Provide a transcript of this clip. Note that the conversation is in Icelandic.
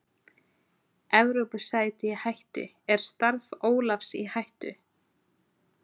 Evrópusæti í hættu, er starf Ólafs í hættu?